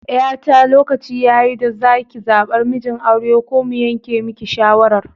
Yata lokaci yayi da zaki zabar mijin aure ko mu yanke miki shawarar